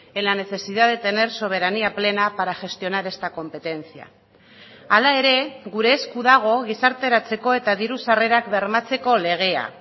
en la necesidad de tener soberanía plena para gestionar esta competencia hala ere gure esku dago gizarteratzeko eta diru sarrerak bermatzeko legea